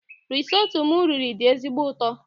Risotto m riri dị ezigbo ụtọ